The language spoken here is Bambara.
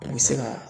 I bɛ se ka